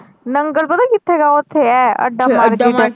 ਨੰਗਲ ਪਤਾ ਕਿਥੇ ਹੈਗਾ ਓਥੇ ਹੈ ਅੱਡਾ market ਅੱਡਾ market